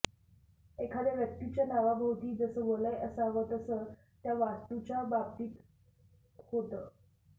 एखाद्या व्यक्तीच्या नावाभोवती जसं वलय असावं तसं त्या वास्तूच्या बाबतीत होतं